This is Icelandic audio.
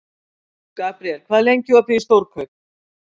Gabriel, hvað er lengi opið í Stórkaup?